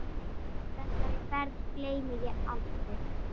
Þessari ferð gleymi ég aldrei.